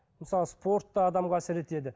мысалы спорт та адамға әсер етеді